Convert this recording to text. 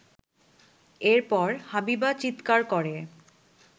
এরপর হাবিবা চিৎকার করে